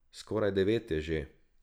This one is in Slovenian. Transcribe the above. Skoraj devet je že.